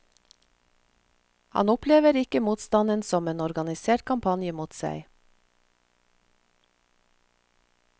Han opplever ikke motstanden som en organisert kampanje mot seg.